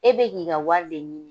E be k'i ka wari de ɲini